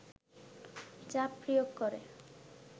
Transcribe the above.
চাপ প্রয়োগ করে